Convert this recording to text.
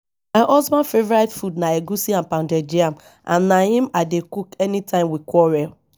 my husband favourite food na egwusi and pounded yam and na im i dey cook anytime we quarrel